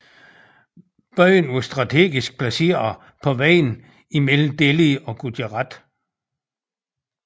Byen var strategisk placeret på vejen mellem Delhi og Gujarat